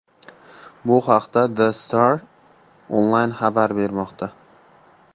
Bu haqda The Star Online xabar bermoqda .